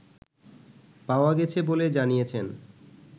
পাওয়া গেছে বলে জানিয়েছেন